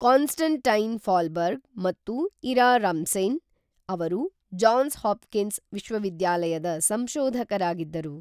Constantine Fahlberg ಮತ್ತು Ira Remsen ಅವರು Johns Hopkins ವಿಶ್ವವಿದ್ಯಾಲಯದ ಸಂಶೋಧಕರಾಗಿದ್ದರು